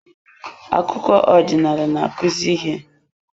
Akụkọ ọdịnala na-akụzi ihe.